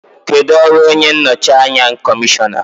Kedu ọrụ onye nnọchi anya kọmishọna?